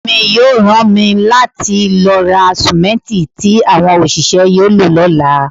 Ọ̀gá mi yóò rán mi láti lọ ra sìmẹ́ǹtì tí àwọn òṣìṣẹ́ yóò lò lọ́la.